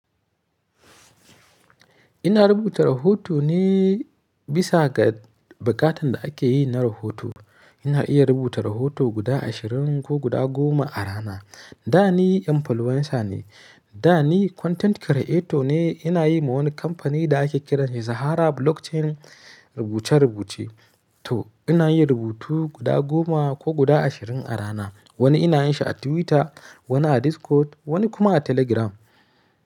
Ina rubuta rahoto ne bisa ga bukatan da ake yi na rahoto. Ina iya rubuta rahoto guda ashirin ko guda goma a rana. Da ni influencer ne, da ni content creator ne. Ina yi ma wani kamfani da ake kiran shi Izhara Blockchain rubuce-rubuce. To ina yin rubutu guda goma ko guda ashirin a rana. Wani ina yin shi a Twitter, wani a Discord, wani kuma a Telegram.